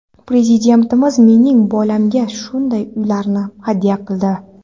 Prezidentimiz mening bolamga shunday uylarni hadya qildi.